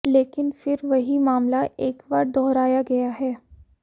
लेकिन फिर वहीं मामला एक बार दोहराया गया है